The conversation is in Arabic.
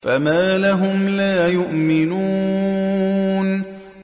فَمَا لَهُمْ لَا يُؤْمِنُونَ